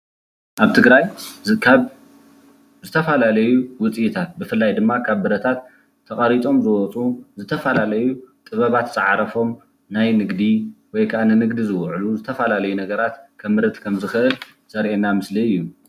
ኣብ ትግራይ ካብ ዝተፈላለዩ ውፅኢታት ብፍላይ ድማ ካብ ብረታት ተቀሪፆም ዝወፅኡ ዝተፈላለዩ ጥበባት ዝዓረፎም ናይ ንግዲ ወይ ከዓ ንንግዲ ዝውዕሉ ዝተፈላለዩ ነገራት ከምርት ከምዝክእል ዘርእየና ምስሊ እዩ።